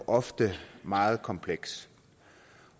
ofte er meget kompleks